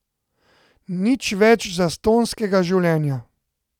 Nič več zastonjskega življenja.